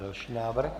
Další návrh.